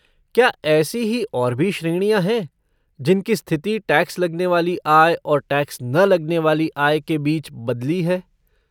क्या ऐसी ही और भी श्रेणियाँ हैं जिनकी स्थिति टैक्स लगने वाली आय और टैक्स न लगने वाली आय के बीच बदली है?